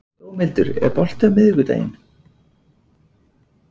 Dómhildur, er bolti á miðvikudaginn?